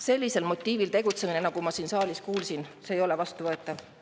Sellisel motiivil tegutsemine, nagu ma siin saalis kuulsin, ei ole vastuvõetav.